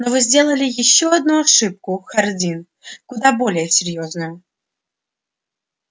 но вы сделали ещё одну ошибку хардин куда более серьёзную